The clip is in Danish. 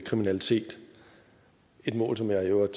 kriminalitet et mål som jeg i øvrigt